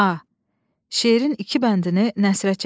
A. Şeirin iki bəndini nəsrə çevirin.